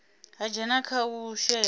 ha dzhenisa kha u shela